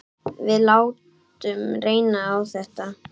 Við látum reyna á þetta.